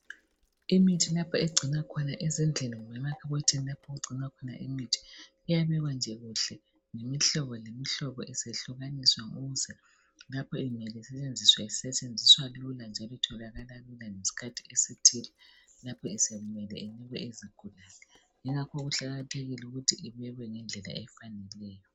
Imithi lapho egcinwa khona ezindlini, kumbe emakhabothini lapho okugcinwa khona imithi. Iyabekwa nje kuhle. Ngemihlobo, ngemihlobo. Isehlukaniswa, kusenzelwa ukuthi lapha isisetshenziswa, isetshenziswe lula, njalo itholakala lula. Nxa isiphiwa izigulane. Ngakho kuqakathekile ukuthi ibekwe ngendlela efaneleyo.